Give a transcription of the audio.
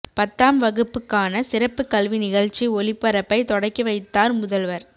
பத்தாம் வகுப்புக்கான சிறப்புக் கல்வி நிகழ்ச்சி ஒளிபரப்பை தொடக்கி வைத்தார் முதல்வர்